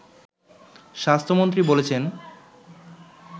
স্বাস্থ্যমন্ত্রী বলেছেন